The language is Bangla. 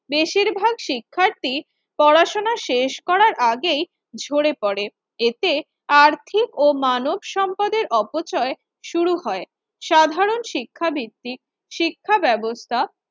বেশিরভাগ শিক্ষার্থী পড়াশোনা শেষ করার আগেই ঝরে পড়ে। এতে আর্থিক ও মানব সম্পদের অপচয় শুরু হয় সাধারণ শিক্ষাবৃত্তি শিক্ষাব্যাবস্থা